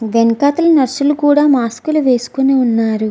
వెనుకల నర్స్ లు కూడా మాస్క్ వేసుకొని వున్నారు.